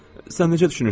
Sən necə düşünürsən?